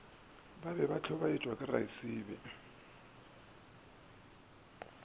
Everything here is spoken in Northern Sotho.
be se hlobaetšwa ke raesibe